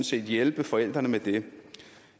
set hjælpe forældrene med det